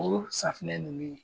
O safunɛ ninnu